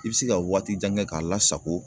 I bɛ se ka waati jan kɛ k'a lasago